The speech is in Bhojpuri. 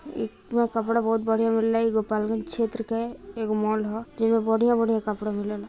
ये कपड़ा बहुत बढ़िया मिलइ गोपालगंज क्षेत्र के एगो मॉल ह जेंमे बढ़िया-बढ़िया कपड़ामिलेला |